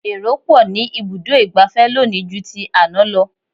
Èrò pọ̀ ní ibùdó ìgbafẹ́ lónìí ju ti àná lọ.